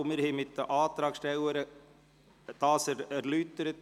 Wir haben ihn mit den Antragstellern erläutert.